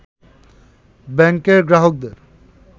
ব্যাংকের গ্রাহকদের